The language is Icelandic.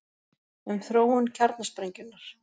Um þróun kjarnasprengjunnar: